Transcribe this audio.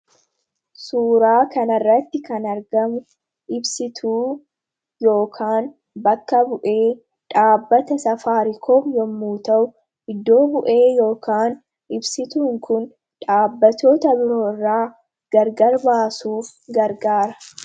suuraa kanirratti kan argamu ibsituu yookaan bakka bu'ee dhaabbata safaarikoom yommuu ta'u iddoo bu'ee yokaan ibsituun kun dhaabbatoota biroo irraa gargar baasuuf gargaara.